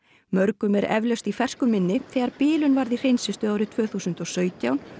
mörgum er eflaust í fersku minni þegar bilun varð í hreinsistöð árið tvö þúsund og sautján